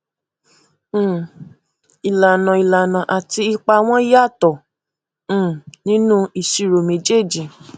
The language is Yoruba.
um ìlànà ìlànà àti ipa wọn yàtọ um nínú ìṣirò méjèèjì